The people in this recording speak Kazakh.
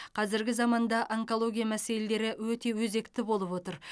қазіргі заманда онкология мәселелері өте өзекті болып отыр